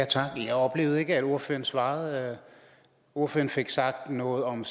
tak jeg oplevede ikke at ordføreren svarede ordføreren fik sagt noget om